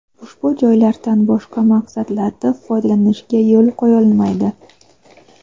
ushbu joylardan boshqa maqsadlarda foydalanishga yo‘l qo‘yilmaydi.